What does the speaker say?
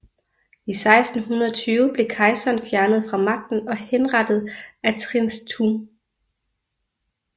I 1620 blev kejseren fjernet fra magten og henrettet af Trịnh Tùng